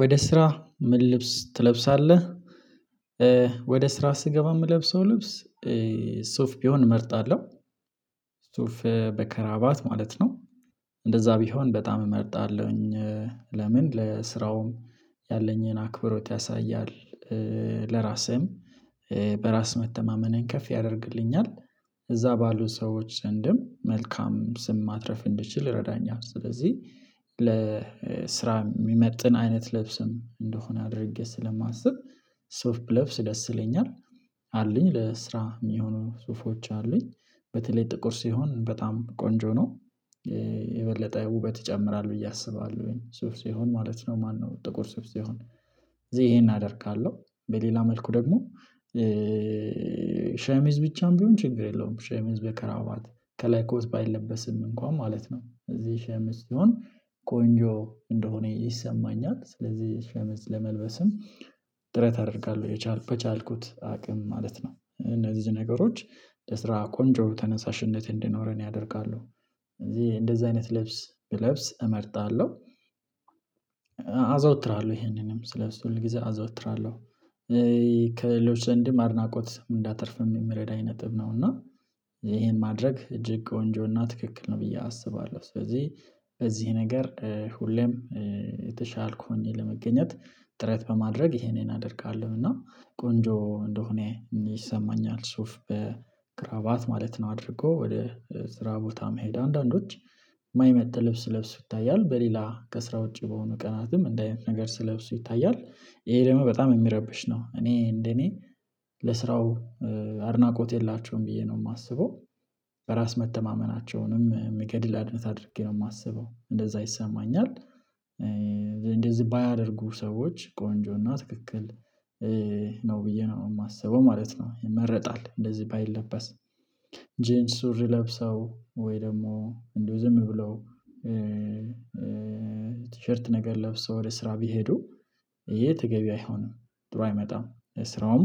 ወደ ስራ ምን ልብስ ትለብሳለህ? ወደ ስራ ስገባ የምለብሰው ልብስ ሱፍ ቢሆን እመርጣለሁ ሱፍ በከራባት ማለት ነው። እንደዛ ቢሆን በጣም እመርጣለሁኝ። ለምን ለስራውም ያለኝን አክብሮት ያሳያል። ለራሴም በራስ መተማመኔን ከፍ ያደርግልኛል። እዛ ባሉ ሰዎች ዘንድም መልካም ስም ማትረፍ እንድችል ይረዳኛል። ስለዚህ ለስራ የሚመጥን አይነት ልብስም እንደሆነ አድርጌ ስለማስብ ሶፍ ለብስ ደስ ይለኛል። አለኝ ለስራ የሚሆኑ ሱፎች አሉኝ በተለይ ጥቁር ሲሆን በጣም ቆንጆ ነው። የበለጠ ውበት ይጨምራል ብዬ አስባለሁኝ ሱፍ ሲሆን ማለት ነው ማነው ጥቁር ሱፍ ሲሆን እዚህ ይሄን አደርጋለሁ። በሌላ መልኩ ደግሞ ሸሚዝ ብቻም ቢሆን ችግር የለውም። ሸሚዝ በከራባት ከላይ ኮስ ባይለበስም እንኳን ማለት ነው እዚህ ሸምዝ ሲሆን ቆንጆ እንደሆነ ይሰማኛል። ስለዚህ ለመልበስም ጥረት አደርጋለሁ የቻልኩት አቅም ማለት ነው እነዚህ ነገሮች ለስራ ቆንጆ ተነሳሽነት እንዲኖረን ያደርጋሉ። እዚህ እንደዚህ አይነት ለብስ ብለብስ እመርጣለሁ። አዘውትራለሁ ይሄንንም ስለሱ ሁል ጊዜ አዘውትራለሁ። ከሌሎች ዘንድም አድናቆት እንዳተርፍም የምረዳኝ ነጥብ ነው። እና ይሄን ማድረግ እጅግ ቆንጆና ትክክል ነው ብዬ አስባለሁ። ስለዚህ በዚህ ነገር ሁሌም የተሻልኩ ሆኜ ለመገኘት ጥረት በማድረግ ይሄኔን አደርጋለሁ እና ቆንጆ እንደሆነ ይሰማኛል። ሱፍ በክራባት ማለት ነው አድርጎ ወደ ስራ ቦታ መሄድ አንዳንዶች ማይመጥ ልብስ ለብሶ ይታያል። በሌላ ከስራ ውጪ በሆነ ቀናትም እንደ አይነት ነገር ስለብሶ ይታያል ይሄ ደግሞ በጣም የሚረብሽ ነው። እኔ እንደኔ ለስራው አድናቆት የላቸውም ብዬ ነው የማስበው በራስ መተማመናቸውንም የሚገድል አድነት አድርጌ ነው የማስበው እንደዛ ይሰማኛል። እንደዚህ ባያደርጉ ሰዎች ቆንጆና ትክክል ነው ብዬ ነው የማስበው ማለት ነው። የመረጣል እንደዚህ ባይለበስ ጄን ሱሪ ለብሰው ወይ ደግሞ እንደው ዝም ብለው ቲሸርት ነገር ለብሶ ወደ ስራ ቢሄዱ ይሄ ተገቢ አይሆንም። ጥሩ አይመጣም ስራውም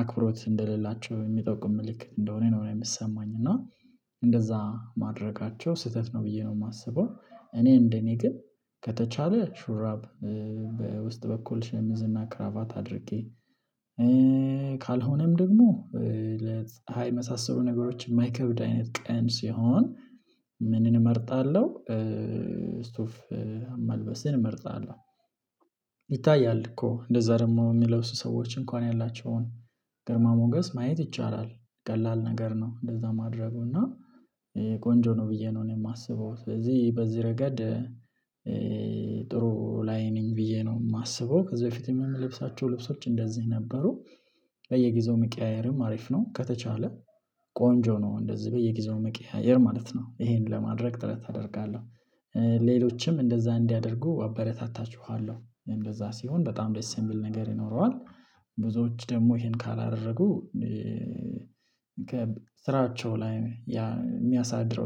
አክብሮት እንደሌላቸው የሚጠቁም ምልክት እንደሆነ ነው የሚሰማኝ። እና እንደዛ ማድረጋቸው ስህተት ነው ብዬ ነው የማስበው። እኔ እንደኔ ግን ከተቻለ ሹራብ በውስጥ በኩል ሸምዝና ክራባት አድርጌ ካልሆነም ደግሞ ለፀሃ የመሳሰሉ ነገሮች የማይከብድ አይነት ቀን ሲሆን ምንን እመርጣለሁ? ስፍ መልበስን እመርጣለሁ። ይታያል እኮ እንደዛ ደግሞ የሚለው ሰዎች እንኳን ያላቸውን ግርማ ሞገስ ማየት ይቻላል። ቀላል ነገር ነው እንደዛ ማድረጉ እና ቆንጆ ነው ብዬ ነው የማስበው። ስለዚህ በዚህ ረገድ ጥሩ ላይ ነኝ ብዬ ነው የማስበው። ከዚህ በፊትም የሚለብሳቸው ልብሶች እንደዚህ ነበሩ። በየጊዜው መቀያየርም አሪፍ ነው ከተቻለ ቆንጆ ነው እንደዚህ በየጊዜው መቀያየር ማለት ነው ይሄንን ለማድረግ ጥረት አደርጋለሁ። ሌሎችም እንደዛ እንዲያደርጉ አበረታታችኋለሁ እንደዛ ሲሆን በጣም ደሴምብል ነገር ይኖረዋል። ብዙዎች ደግሞ ይሄን ካላደረጉ ከስራቸው ላይ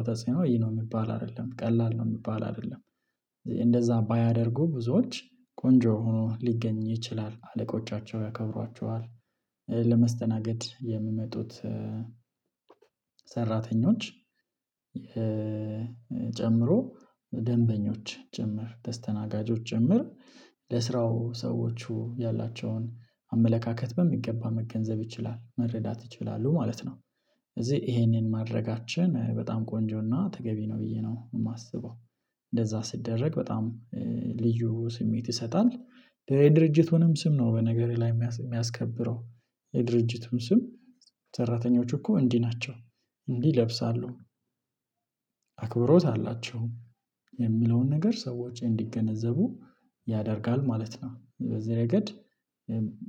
ተጽዕኖ ይሄ ነው የሚባል አይደለም ቀላል ነው የሚባል አይደለም። እንደዛ ባያደርጉ ብዙዎች ቆንጆ ሆኖ ሊገኝ ይችላል አለቆቻቸው ያከብሯቸዋል። ለመስተናገድ የሚመጡት ሰራተኞች የጨምሮ ደንበኞች ጭምር ተስተናጋጆች ጭምር ለስራው ሰዎቹ ያላቸውን በሚገባ መገንዘብ ይችላል መረዳት ይችላሉ ማለት ነው። እዚህ ይሄንን ማድረጋችን በጣም ቆንጆና ተገቢ ነው ብዬ ነው የማስበው። እንደዛ ስደረግ በጣም ልዩ ስሜት ይሰጣል። የድርጅት ወይም ስም ነው በነገርህ ላይ የሚያስከብረው የድርጅቱን ስም ሰራተኞች እኮ እንዲህ ናቸው እንዲህ ይለብሳለሁ አክብሮት አላቸው የሚለውን ነገር ሰዎች እንዲገነዘቡ ያደርጋል ማለት ነው። በዚህ ረገድ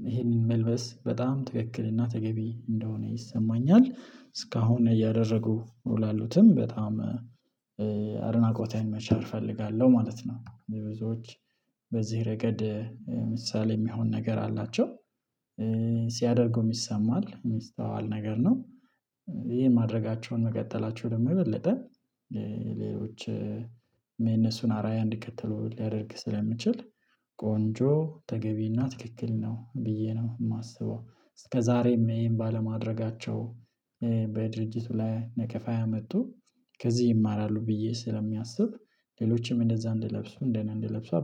ይሄንን መልበስ በጣም ትክክልና ተገቢ እንደሆነ ይሰማኛል። እስካሁን እያደረጉ ላሉትም በጣም አድናቆቴን መቻር እፈልጋለሁ ማለት ነው። የብዙዎች በዚህ ረገድ ምሳሌ የሚሆን ነገር አላቸው። ሲያደርጉም ይሰማል የሚስተዋል ነገር ነው። ይሄን ማድረጋቸውን መቀጠላቸው ደግሞ የበለጠ ሌሎች አራያ እንድከተሉ ሊያደርግ ስለሚችል ቆንጆ ተገቢና ትክክል ነው ብዬ ነው የማስበው። እስከዛሬም ይሄን ባለማድረጋቸው በድርጅቱ ላይ ለከፋ ያመጡ ከዚህ ይማራሉ ብዬ ስለሚያስብ ሌሎችም እንደዛ እንደለብሱ እንደኔ እንደለብሱ